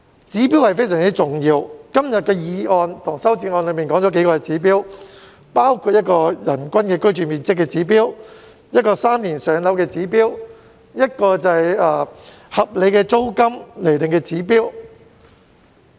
指標非常重要，今天的議案及修正案均提到幾個指標，包括人均居住面積指標、"三年上樓"的指標，以及合理租金釐定的指標。